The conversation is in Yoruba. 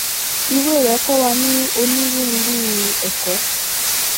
ìwé rẹ kò wà ní onírúurú ẹkọ